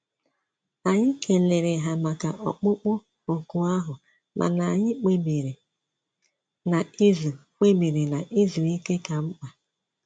Anyị kelere ha maka ọkpụkpụ òkù ahụ mana anyị kpebiri na izu kpebiri na izu ike ka mkpa